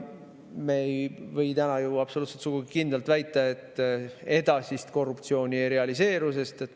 Me ei või ka täna sugugi mitte kindlalt väita, et edasist korruptsiooni ei realiseeru.